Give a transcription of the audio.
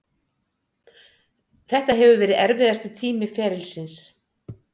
Þetta hefur verið erfiðasti tími ferilsins.